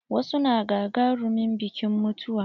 Wasu na gagarumin biƙin mutuwa.